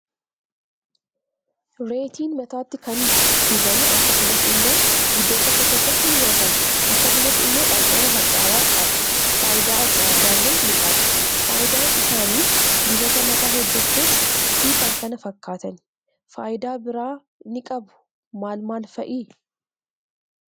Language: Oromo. Reetiin mataatti kan dubamu akkasumas immoo iddoo tokko tokkotti ni nyaatama akkasumas immoo dhamdhama hadhaawaa qaba faayida adda addaalle ni qaba faayidaan isaanis dibata mataa hojjechuuf finkan kana fakkatan. Faayida bira inni qabu maal maal fa'i?